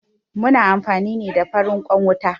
Muna amfani ne da farin ƙwan wuta